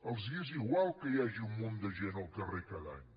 els és igual que hi hagi un munt de gent al carrer cada any